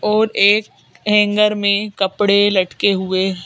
और एक हैंगर में कपड़े लटके हुए--